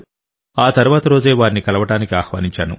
ఆ తర్వాతి రోజే వారిని కలవడానికి ఆహ్వానించాను